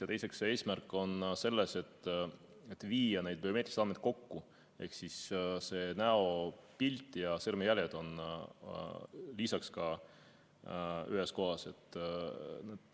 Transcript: Ja teiseks, eesmärk on viia biomeetrilised andmed kokku ehk siis näopilt ja sõrmejäljed on ka lisaks ühes kohas.